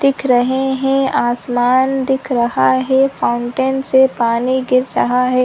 दिख रहे है आसमान दिख रहा है फाउंटेन से पानी गिर रहा है।